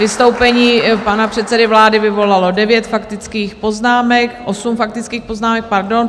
Vystoupení pana předsedy vlády vyvolalo devět faktických poznámek... osm faktických poznámek, pardon.